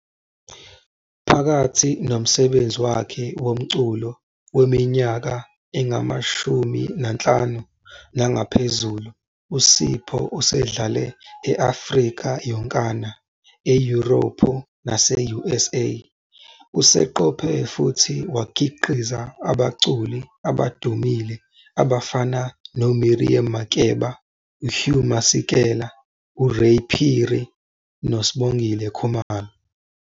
Phakathi nomsebenzi wakhe womculo weminyaka engama-50 nangaphezulu, uSipho usedlale e-Afrika yonkana, eYurophu nase-USA. Useqophe futhi wakhiqiza abaculi abadumile abafana noMiriam Makeba, uHugh Masekela, uRay Phiri noSibongile Khumalo.